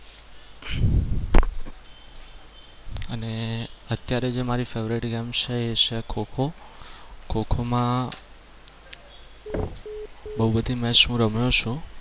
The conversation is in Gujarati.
મારી favourite game છે એ છે ખો-ખો. ખો-ખો માં બહુ બધી match હું રમ્યો છું.